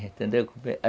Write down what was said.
Entendeu?